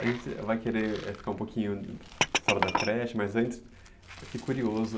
A gente vai querer ficar um pouquinho fora da creche, mas antes eu fiquei curioso.